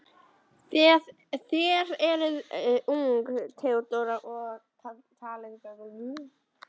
Þér eruð ung, Theodóra, og talið gálauslega.